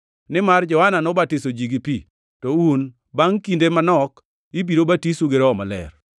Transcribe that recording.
nimar Johana nobatiso ji gi pi, to un bangʼ kinde manok ibiro batisou gi Roho Maler.”